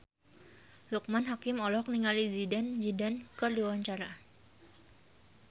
Loekman Hakim olohok ningali Zidane Zidane keur diwawancara